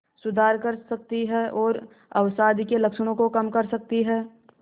सुधार कर सकती है और अवसाद के लक्षणों को कम कर सकती है